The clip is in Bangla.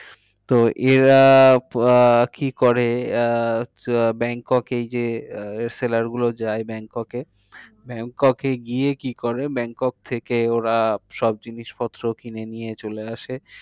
তো এরা আহ কি করে আহ ব্যাংকক এই যে আহ seller গুলো যায় ব্যাংককে, হম ব্যাংককে গিয়ে কি করে ব্যাংকক থেকে ওরা সব জিনিস পত্র কিনে নিয়ে চলে আসে।